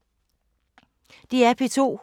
DR P2